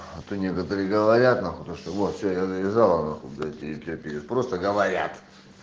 а то некоторые говорят нахуй то что вот что я завязала нахуй блять и пьёт перед просто говорят